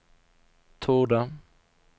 torde